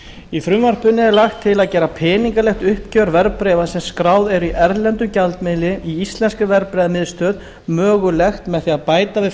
í frumvarpinu er lagt til að gera peningalegt uppgjör verðbréfa sem skráð eru í erlendum gjaldmiðlum í íslenskri verðbréfamiðstöð mögulegt með því að bæta við